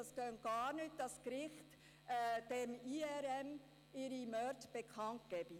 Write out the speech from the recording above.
Es gehe gar nicht, dass das Gericht seine Morde dem IRM bekannt gebe.